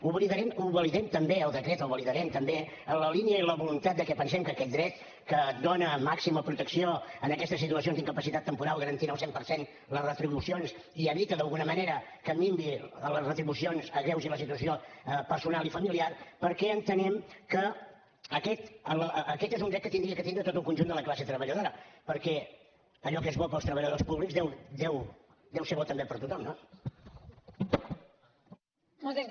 el validem també el decret el validarem també en la línia i en la voluntat de que pensem que aquest dret que dona màxima protecció en aquestes situacions d’incapacitat temporal garantint al cent per cent les retribucions i evita d’alguna manera que minvin les retribucions s’agreugi la situació personal i familiar perquè entenem que aquest és un dret que hauria de tindre tot el conjunt de la classe treballadora perquè allò que és bo per als treballadors públics deu ser bo també per a tothom no